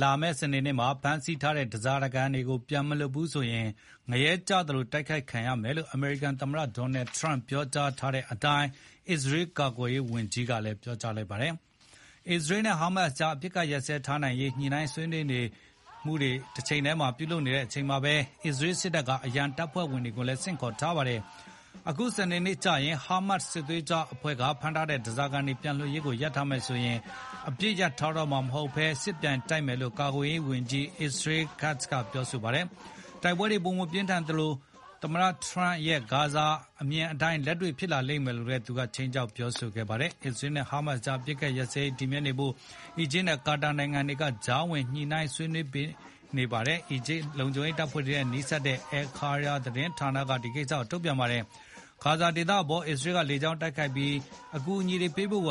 လာမယ့်စနေနေ့မှာ ဖမ်းဆီးထားတဲ့ဓားစာခံတွေကို ပြန်မလွှတ်ဘူးဆိုရင် ငရဲကျသလို တိုက်ခိုက်ခံရမယ် လို့ အမေရိကန်သမ္မတ Donald Trump ပြောထားတဲ့အတိုင်း အစ္စရေးကာကွယ်ရေးဝန်ကြီးကလည်း ပြောလိုက်ပါတယ်။ အစ္စရေးနဲ့ Hamas ကြား အပစ်အခတ်ဆက်လက် ရပ်ထားနိုင်ရေး ညှိနှိုင်းသူတွေ ဆွေးနွေးနေကြတာနဲ့ တချိန်တည်းမှာ အစ္စရေးစစ်တပ်က အရန်တပ်ဖွဲ့ဝင်တွေကိုလည်း ဆင့်ခေါ်ထားပါတယ်။ အခုစနေနေ့ ကျရင် Hamas စစ်သွေးကြွအဖွဲ့က ဖမ်းထားတဲ့ ဓားစာခံတွေပြန်လွှတ်ရေးကို ရပ်ထားမယ်ဆိုရင် အပစ်အခတ်ရပ်ထားတော့မှာ မဟုတ်ဘဲ စစ်ပြန်ဖြစ်မယ်လို့ ကာကွယ်ရေးဝန်ကြီး Israel Katz က ပြောကြားခဲ့ပါတယ်။ တိုက်ပွဲတွေ ပိုပြင်းထန်မှာဖြစ်သလို သမ္မတ Trump ရဲ့ဂါဇာဒေသ အမြင်အတိုင်း လက်တွေ့ဖြစ်လာလိမ့်မယ်လို့ သူက ခြိမ်းခြောက်ပြောခဲ့ပါတယ်။ အစ္စရေးနဲ့ Hamas ကြား အပစ်အခတ်ရပ်စဲရေး တည်မြဲနေဖို့ အီဂျစ်နဲ့ ကာတာနိုင်ငံတွေက ကြားဝင် ပေးသူတွေ ညှိနှိုင်းဆွေးနွေးနေကြတယ်လို့ အီဂျစ်က လုံခြုံရေးတပ်ဖွဲ့တွေနဲ့ နီးစပ်တဲ့ Al-Qahera သတင်းဌာနက ထုတ်ပြန်ခဲ့ပါတယ်။ ဂါဇာဒေသအပေါ် အစ္စရေးက လေကြောင်းတိုက်ခိုက်မှုတွေ ဆက်လုပ်နေသလို အကူအညီတွေ ပေးပို့